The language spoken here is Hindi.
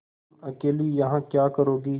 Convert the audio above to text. तुम अकेली यहाँ क्या करोगी